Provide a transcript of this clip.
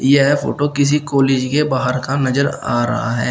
यह फोटो किसी कॉलेज के बाहर का नजर आ रहा है।